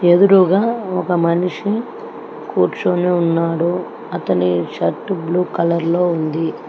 ఎదురుగా ఒక మనిషి కూర్చొని ఉన్నాడు అతని షర్ట్ బ్లూ కలర్ లో ఉంది.